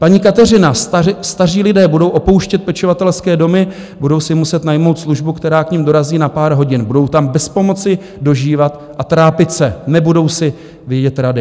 Paní Kateřina: Staří lidé budou opouštět pečovatelské domy, budou si muset najmout službu, která k nim dorazí na pár hodin, budou tam bez pomoci dožívat a trápit se, nebudou si vědět rady.